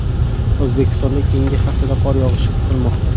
O‘zbekistonda keyingi haftada qor yog‘ishi kutilmoqda.